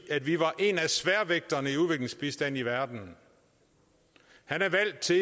vi var en af sværvægterne i udviklingsbistanden i verden han er valgt til